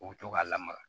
U bɛ to ka lamaga